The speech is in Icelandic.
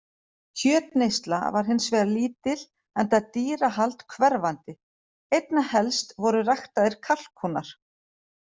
Kjötneysla var hins vegar lítil enda dýrahald hverfandi, einna helst voru ræktaðir kalkúnar.